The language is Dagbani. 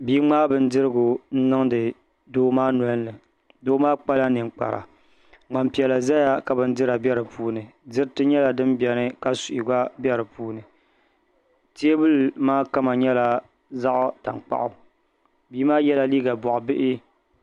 Bia ŋmaai bindirigu niŋdi doo maa nolini doo maa kpala ninkpara ŋmani piɛla ʒɛya ka bindira bɛ di puuni diriti nyɛla din biɛni ka suhi gba bɛ di puuni teebuli maa kama nyɛla zaɣ tankpaɣu bia maa yɛla liiga boɣa bihi